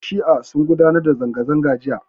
Yan' shi'a sun gudanar da zanga-zanga jiya.